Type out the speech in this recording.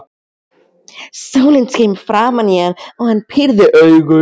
Sólin skein framan í hann og hann pírði augun.